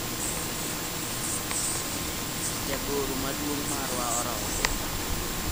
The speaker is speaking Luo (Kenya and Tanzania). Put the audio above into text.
jagoro maduong’ marwa orodhi.